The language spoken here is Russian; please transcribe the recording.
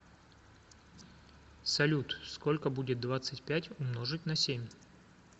салют сколько будет двадцать пять умножить на семь